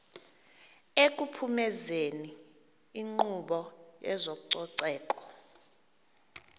ekuphumezeni inkqubo yezococeko